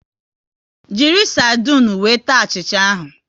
Jiri sardinu wee taa achịcha ahụ